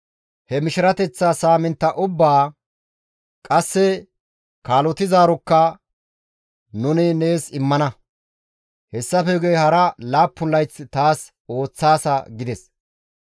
He mishirateththa saamintta ubbaa wursa; qasse kaalotizaarokka nuni nees immana; hessafe guye hara laappun layth taas ooththaasa» gides.